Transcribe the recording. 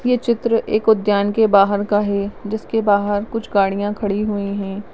ये चित्र एक उद्यान के बाहर का है जिसके बाहर कुछ गाड़िया खड़ी हुई है।